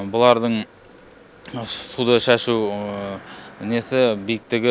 бұлардың суда шашу несі биіктігі